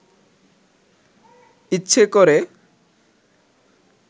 ইচ্ছে করে